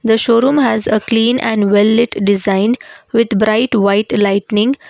the showroom has a clean and well it designed with bright white lightning.